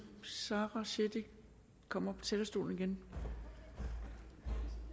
sara cekic komme op på talerstolen igen